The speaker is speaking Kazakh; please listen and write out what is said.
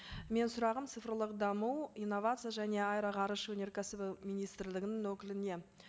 менің сұрағым цифрлық даму инновация және аэроғарыш өнеркәсібі министрлігінің өкіліне